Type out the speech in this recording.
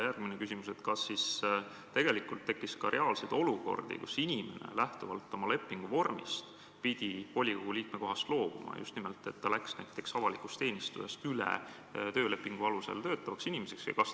Järgmine küsimus: kas tekkis ka reaalseid olukordi, kus inimene oma lepingu vormist lähtuvalt pidi volikogu liikme kohast loobuma, just nimelt seetõttu, et ta avaliku teenistujast sai töölepingu alusel töötavaks inimeseks?